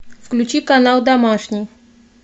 включи канал домашний